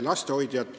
Arutasime ka